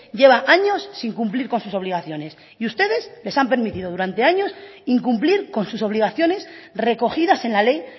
lleva años sin cumplir con sus obligaciones y ustedes les han permitido durante años incumplir con sus obligaciones recogidas en la ley